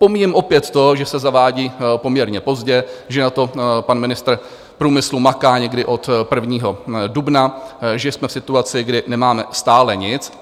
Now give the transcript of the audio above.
Pomíjím opět to, že se zavádí poměrně pozdě, že na tom pan ministr průmyslu maká někdy od 1. dubna, že jsme v situaci, kdy nemáme stále nic.